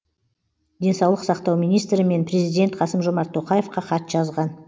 денсаулық сақтау министрі мен президент қасым жомарт тоқаевқа хат жазған